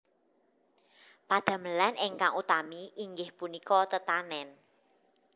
Padamelan ingkang utami inggih punika tetanèn